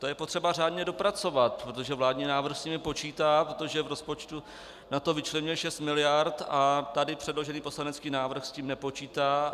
To je potřeba žádně dopracovat, protože vládní návrh s nimi počítá, protože v rozpočtu na to vyčlenil 6 miliard, a tady předložený poslanecký návrh s tím nepočítá.